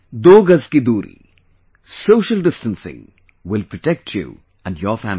'Do Gaz ki doori', social distancing will protect you and your family